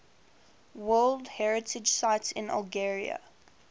world heritage sites in algeria